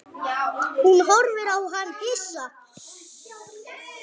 Hún horfði á hann hissa.